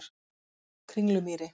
Kringlumýri